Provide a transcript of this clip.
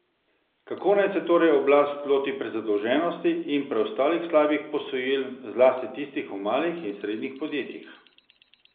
Kako naj se torej oblast loti prezadolženosti in preostalih slabih posojil, zlasti tistih v malih in srednjih podjetjih?